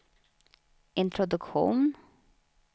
introduktion